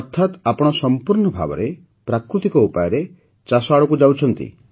ଅର୍ଥାତ୍ ଆପଣ ସମ୍ପୂର୍ଣ୍ଣ ଭାବେ ପ୍ରାକୃତିକ ଉପାୟରେ ଚାଷ ଆଡ଼କୁ ଯାଉଛନ୍ତି